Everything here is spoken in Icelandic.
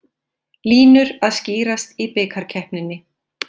Línur að skýrast í bikarkeppninni